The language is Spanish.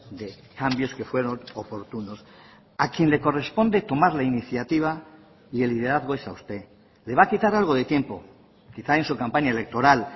de cambios que fueron oportunos a quien le corresponde tomar la iniciativa y el liderazgo es a usted le va a quitar algo de tiempo quizá en su campaña electoral